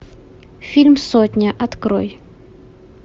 фильм сотня открой